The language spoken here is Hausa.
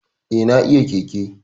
Eh, na iya keke